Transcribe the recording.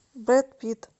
брэд питт